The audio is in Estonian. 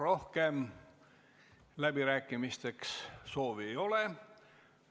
Rohkem läbirääkimiste soovi ei ole.